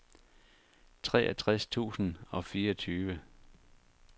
treogtres tusind og fireogtyve